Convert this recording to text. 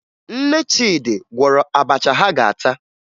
Nne Chidi gwọrọ abacha ha ga-ata